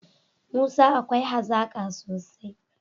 Musa akwai hazaka sosai